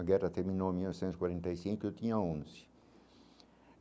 A guerra terminou em mil novecentos e quarenta e cinco, eu tinha onze.